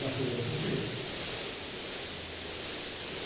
Na federação fui eu. senhor?ui eu.